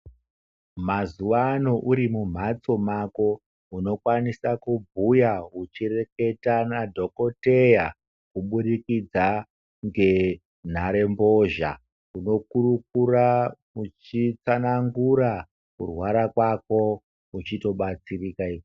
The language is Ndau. Mazuwano urimumhatso mako unokwanisa kubhuya uchireketa nadhokoteya kuburikidza nenhare mbozha munokurukura uchitsanangura kutwara kwako uchitobatsirika.